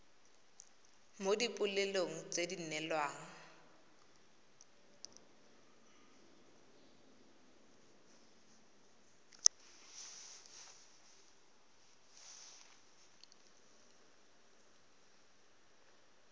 mo dipoelong tse di neelwang